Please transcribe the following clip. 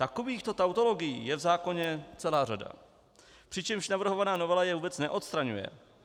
Takovýchto tautologií je v zákoně celá řada, přičemž navrhovaná novela je vůbec neodstraňuje.